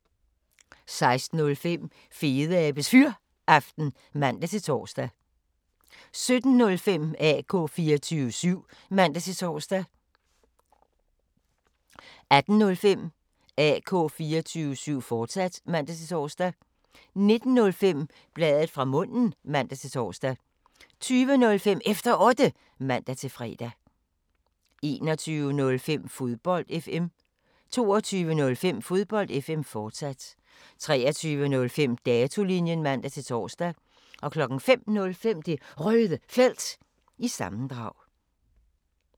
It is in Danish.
16:05: Fedeabes Fyraften (man-tor) 17:05: AK 24syv (man-tor) 18:05: AK 24syv, fortsat (man-tor) 19:05: Bladet fra munden (man-tor) 20:05: Efter Otte (man-fre) 21:05: Fodbold FM 22:05: Fodbold FM, fortsat 23:05: Datolinjen (man-tor) 05:05: Det Røde Felt – sammendrag